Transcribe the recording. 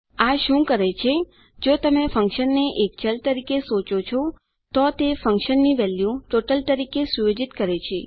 આ શું કરે છે જો તમે ફન્કશનને એક ચલ તરીકે સોચો છો તો તે ફન્કશનની વેલ્યુ ટોટલ તરીકે સુયોજિત કરે છે